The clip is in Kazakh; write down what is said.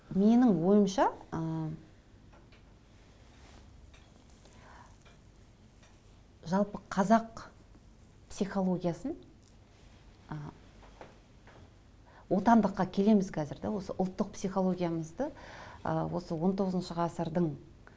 менің ойымша ыыы жалпы қазақ психологиясын ы отандыққа келеміз қазір де осы ұлттық психологиямызды ыыы осы он тоғызыншы ғасырдың